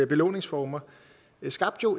belåningsformer skabte jo